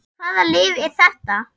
En hvaða lyf er þetta?